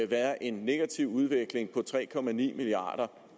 være en negativ udvikling på tre milliard